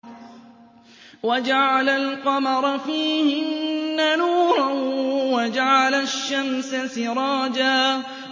وَجَعَلَ الْقَمَرَ فِيهِنَّ نُورًا وَجَعَلَ الشَّمْسَ سِرَاجًا